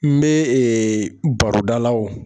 N be ee barodala wo